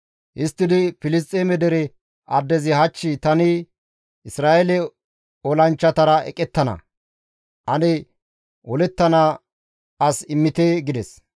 Histtidi Filisxeeme dere addezi, «Hach tani Isra7eele olanchchatara eqettana; ane olettana as immite!» gides.